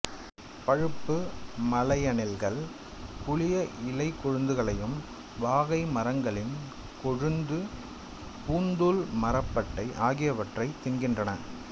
பழுப்பு மலையணில்கள் புளிய இலைக்கொழுந்துகளையும் வாகை மரங்களின் கொழுந்து பூந்தூள் மரப்பட்டை ஆகியவற்றையும் தின்கின்றன